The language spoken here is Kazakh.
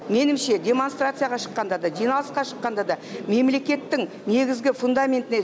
меніңше демонстарцияға шыққанда да жиналысқа шыққанда да мемлекеттің негізгі фундаментіне